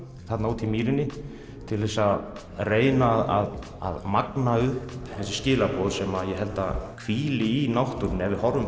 þarna úti í mýrinni til þess að reyna að magna upp þessi skilaboð sem ég held að hvíli í náttúrunni ef við